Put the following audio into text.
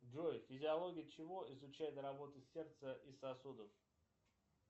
джой физиология чего изучает работу сердца и сосудов